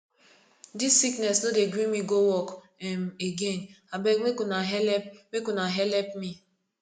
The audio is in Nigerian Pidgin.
dis sickness no dey gree me go work um again abeg make una helep make una helep me